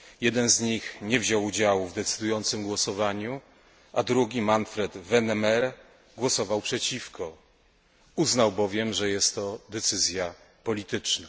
Jeden z nich nie wziął udziału w decydującym głosowaniu, a drugi Manfred Wennemer głosował przeciwko, uznał bowiem, że jest to decyzja polityczna.